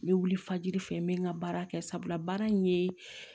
N bɛ wili fajiri fɛ n bɛ n ka baara kɛ sabula baara in ye